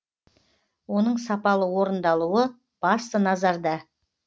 оның сапалы орындалуы басты назарда